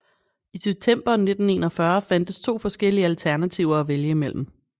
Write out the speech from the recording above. I september 1941 fandtes to forskellige alternativer at vælge mellem